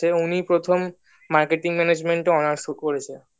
উনি প্রথম marketing management এ honours করেছেন